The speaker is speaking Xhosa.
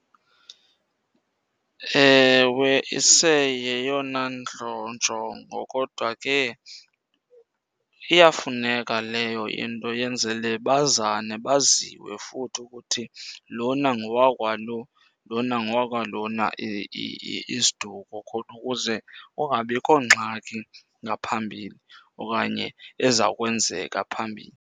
Ewe, iseyeyona njongo. Kodwa ke iyafuneka leyo into yenzele bazane, baziwe futhi ukuthi lona ngowakwalo, lona ngowakwalona isiduko khona ukuze kungabikho ngxaki ngaphambili okanye eza kwenzeka phambili.